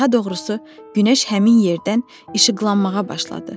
Daha doğrusu, günəş həmin yerdən işıqlanmağa başladı.